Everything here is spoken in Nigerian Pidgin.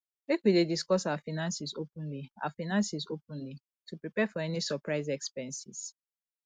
make we dey discuss our finances openly our finances openly to prepare for any surprise expenses